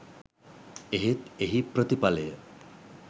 එහෙත් එහි ප්‍රතිඵලය